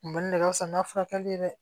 Kunbɛnni de ka fisa n'a furakɛli ye dɛ